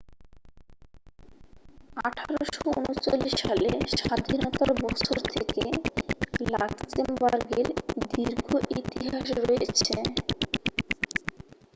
1839 সালে স্বাধীনতার বছর থেকে লাক্সেমবার্গের দীর্ঘ ইতিহাস রয়েছে